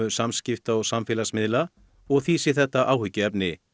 samskipta og samfélagsmiðla og því sé þetta áhyggjuefni